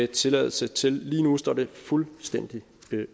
tilladelse til lige nu står det fuldstændig